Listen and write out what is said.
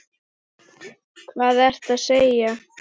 Hvað ertu að segja!